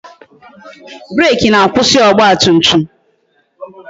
Breeki na-akwụsị ọgba tum tum